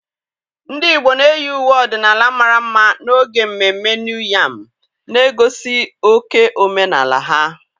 Ndị igbo na-eyi uwe ọdịnala mara mma n'oge mmemme New Yam, na-egosi oke omenaala ha.